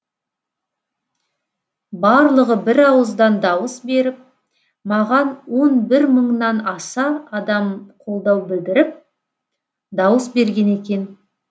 барлығы бір ауыздан дауыс беріп маған он бір мыңнан аса адам қолдау білдіріп дауыс берген екен